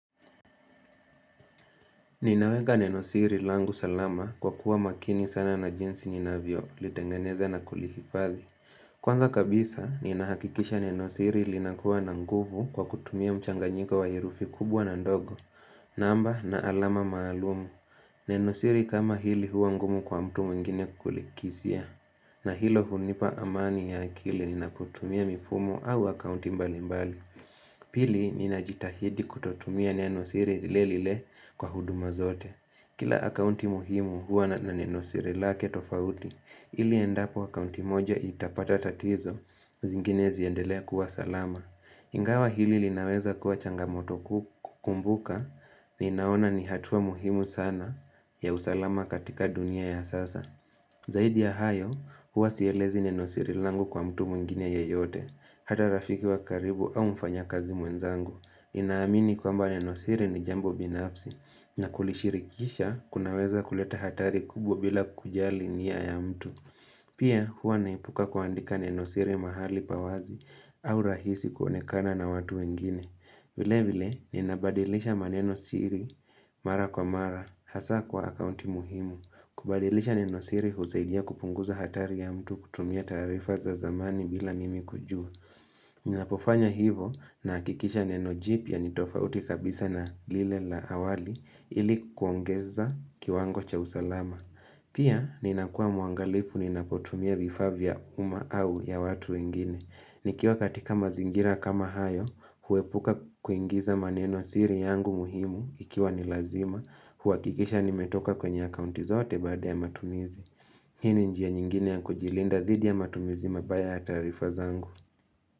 Ninaweka nenosiri langu salama kwa kuwa makini sana na jinsi ninavyolitengeneza na kulihifadhi. Kwanza kabisa, ninahakikisha nenosiri linakuwa na nguvu kwa kutumia mchanganyiko wa herufi kubwa na ndogo. Namba na alama maalumu. Nenosiri kama hili huwa ngumu kwa mtu mwingine kulikisia. Na hilo hunipa amani ya akili ninapotumia mifumo au akaunti mbalimbali. Pili, ninajitahidi kutotumia nenosiri lile lile kwa huduma zote. Kila akauti muhimu huwa na nenosiri lake tofauti, ili endapo akauti moja itapata tatizo, zingine ziendelee kuwa salama. Ingawa hili linaweza kuwa changamoto kuu kukumbuka ninaona ni hatua muhimu sana ya usalama katika dunia ya sasa. Zaidi ya hayo huwa sielezi nenosiri langu kwa mtu mwingine yeyote, hata rafiki wa karibu au mfanyakazi mwenzangu. Ninaamini kwamba nenosiri ni jambo binafsi na kulishirikisha kunaweza kuleta hatari kubwa bila kujali nia ya mtu. Pia huwa naepuka kuandika nenosiri mahali pa wazi au rahisi kuonekana na watu wengine. Vilevile ninabadilisha manenosiri mara kwa mara hasa kwa akaunti muhimu. Kubadilisha nenosiri husaidia kupunguza hatari ya mtu kutumia taarifa za zamani bila mimi kujua. Ninapofanya hivyo nahakikisha neno jipya ni tofauti kabisa na lile la awali ili kuongeza kiwango cha usalama. Pia ninakuwa muangalifu ninapotumia vifaa vya umma au ya watu wengine. Nikiwa katika mazingira kama hayo, huepuka kuingiza manenosiri yangu muhimu ikiwa ni lazima, huhakikisha nimetoka kwenye akaunti zote baada ya matumizi. Hii ni njia nyingine ya kujilinda dhidi ya matumizi mabaya ya taarifa zangu.